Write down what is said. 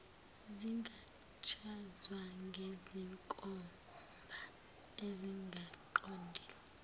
zingachazwa ngezinkomba ezingaqondile